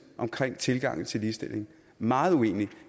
om tilgangen til ligestilling meget uenig